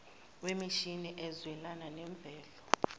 wemishini ezwelana nemvelo